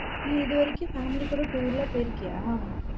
நீ இது வரைக்கும் family கூட tour லாம் போயிருக்கியா?